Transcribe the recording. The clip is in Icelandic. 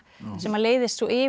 sem leiðist svo yfir í